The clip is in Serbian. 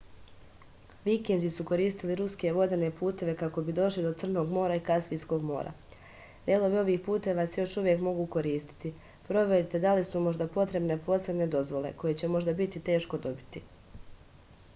vikinzi su koristili ruske vodene puteve kako bi došli do crnog mora i kaspijskog mora delovi ovih puteva se još uvek mogu koristiti proverite da li su možda potrebne posebne dozvole koje će možda biti teško dobiti